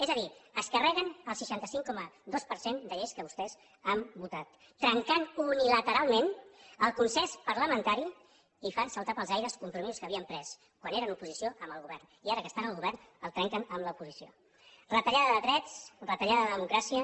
és a dir es carreguen el seixanta cinc coma dos per cent de lleis que vostès han votat trencant unilateralment el consens parlamentari i fan saltar pels aires compromisos que havien pres quan eren oposició amb el govern i ara que són al govern el trenquen amb l’oposició retallada de drets retallada de democràcia